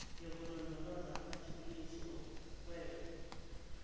yokulondoloza amathuluzi okuhweba